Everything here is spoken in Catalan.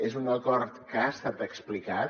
és un acord que ha estat explicat